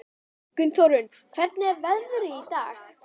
Gunnþórunn, hvernig er veðrið í dag?